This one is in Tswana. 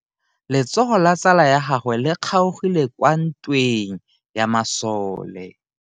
Letsogo la tsala ya gagwe le kgaogile kwa ntweng ya masole.